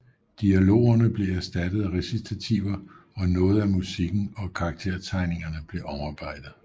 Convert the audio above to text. Dialogerne blev erstattet af recitativer og noget af musikken og karaktertegningen blev omarbejdet